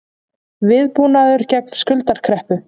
Viðbúnaður gegn skuldakreppu